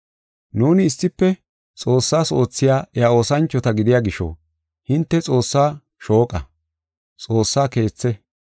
Nuuni issife Xoossas oothiya iya oosanchota gidiya gisho, hinte Xoossa shooqa; Xoossa keethi.